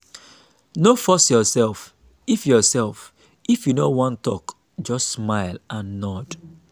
no force yoursef if yoursef if you no wan tok just smile and nod.